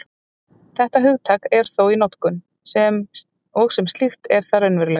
Þetta hugtak er þó í notkun, og sem slíkt er það raunverulegt.